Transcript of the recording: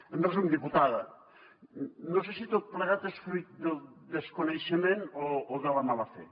en resum diputada no sé si tot plegat és fruit del desconeixement o de la mala fe